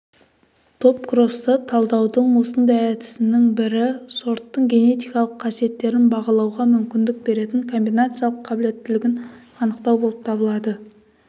топкросты талдаудың осындай әдісінің бірі сорттың генетикалық қасиеттерін бағалауға мүмкіндік беретін комбинациялық қабілеттілігін анықтау болып табылады